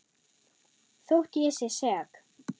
Þótt ég sé sek.